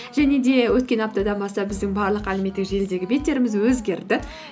және де өткен аптадан бастап біздің барлық әлеуметтік желідегі беттеріміз өзгерді